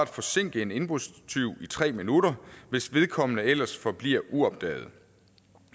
forsinke en indbrudstyv i tre minutter hvis vedkommende ellers forbliver uopdaget